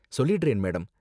சொல்லிடுறேன், மேடம்.